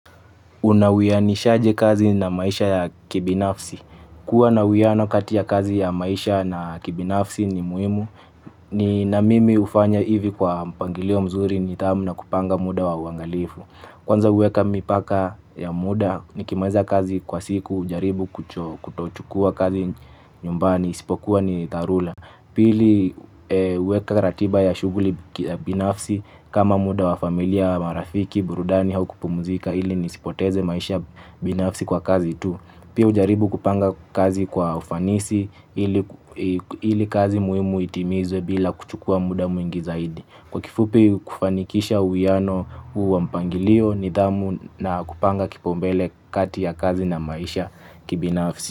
Una wianishaje kazi na maisha ya kibinafsi. Kua na wiano kati ya kazi ya maisha na kibinafsi ni muhimu. Ni na mimi hufanya hivi kwa mpangilio mzuri nidhamu na kupanga muda wa uangalifu. Kwanza huweka mipaka ya muda nikimaliza kazi kwa siku hujaribu kutochukua kazi nyumbani isipokuwa ni dharura rula. Pili huweka ratiba ya shughuli binafsi kama muda wa familia marafiki, burudani au kupumuzika ili nisipoteze maisha binafsi kwa kazi tu. Pia hujaribu kupanga kazi kwa ufanisi ili kazi muhimu itimizwe bila kuchukua muda mwingi zaidi. Kwa kifupi kufanikisha uwiano huu wa mpangilio nidhamu na kupanga kipaumbele kati ya kazi na maisha kibinafsi.